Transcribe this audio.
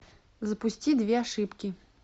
запусти две ошибки